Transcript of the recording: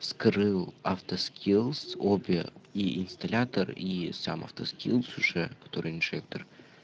скрыл авто скилз обе и инсталлятор и сам авто скилз уже который инжектор